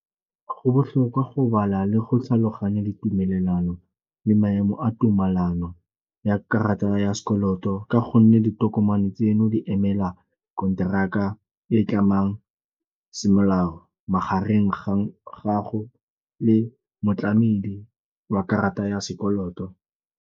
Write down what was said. Go botlhokwa go bala le go tlhaloganya ditumelelano le maemo a tumelano ya karata ya sekoloto ka gonne ditokomane tseno di emela konteraka e e tlamang semolao magareng ga gago le motlamedi wa karata ya sekoloto.